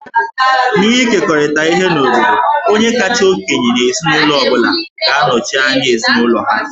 N'ịkekọrịta ihe n'obodo, onye kacha okenye n'ezinụlọ ọ bụla ga-anọchi anya ezinụlọ ha